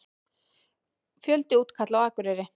Fjöldi útkalla á Akureyri